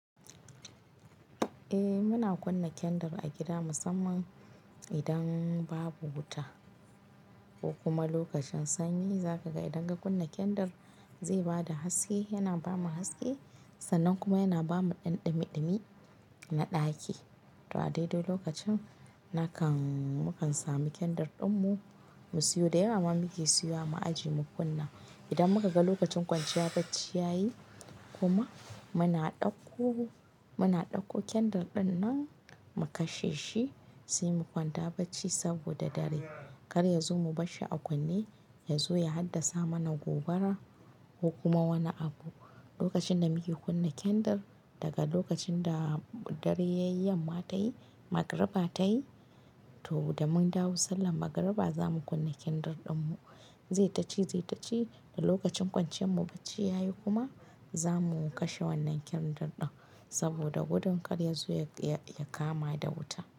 Eh muna kunna kendir a gida musamman idan babu wuta ko kuma lokacin sanyi. Zaka ga idan ka kunna kendir zai bada haske, yana bamu haske sannan kuma yana bamu ɗan ɗumi-ɗumi na ɗaki. To a dai-dai lokacin na kan mu kan samu kendir din mu, mu siyo da yawa ma muke siya mu aje mu kunna. Idan muka ga lokacin kwanciya bacci yayi kuma muna ɗauko, muna ɗauko kendir din mu kashe shi sai mu kwanta bacci saboda dare karya yazo mu barshi a kunne, yazo ya haddasa mana gobara ko kuma wani abu. Lokacin da muke kunna kendir daga lokacin da dare yayi yamma tayi, Magriba ta yi to da mun dawo sallar Magriba za mu kunna kendir din mu. Zai taci, zai taci da lokacin kwanciyan mu bacci yayi kuma za mu kashe wannan kendir din saboda gudun karya yazo ya kama da wuta.